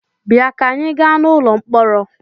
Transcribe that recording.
Bịa ka anyị gaa n'ụlọ mkpọrọ!